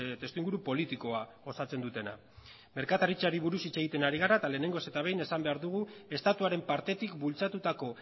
testu inguru politikoa osatzen dutena merkataritzari buruz hitz egiten ari gara eta lehenengoz eta behin esan behar dugu estatuaren partetik bultzatutako